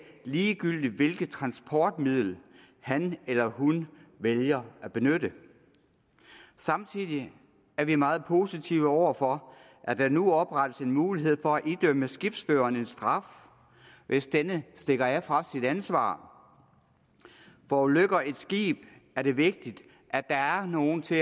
ligegyldigt hvilket transportmiddel han eller hun vælger at benytte samtidig er vi meget positive over for at der nu oprettes en mulighed for at idømme skibsføreren en straf hvis denne stikker af fra sit ansvar forulykker et skib er det vigtigt at der er nogen til